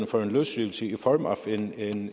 for en løsrivelse i form af en